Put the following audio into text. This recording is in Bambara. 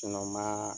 ma